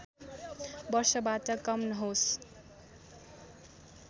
वर्षबाट कम नहोस्